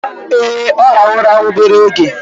Ee, ọ rahụru ụra obere oge